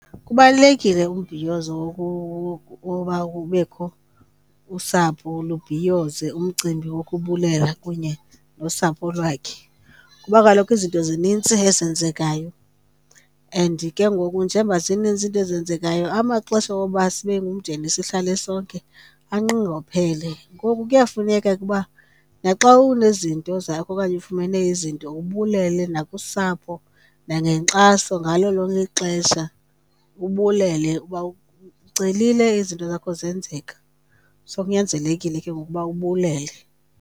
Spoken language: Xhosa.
Kubalulekile umbhiyozo woba ubekho usapho, lubhiyoze umcimbi wokubulela kunye nosapho lwakhe. Kuba kaloku izinto zinintsi ezenzekayo and ke ngoku njemba zinintsi into ezenzekayo amaxesha woba sibe ngumndeni sihlale sonke anqongophele. Ngoku kuyafuneka ke uba naxa unezinto zakho okanye ufumene izinto ubulele nakusapho nangenkxaso. Ngalo lonke ixesha ubulele uba ucelile, izinto zakho zenzeka. So, kunyanzelekile ke ukuba ubulele.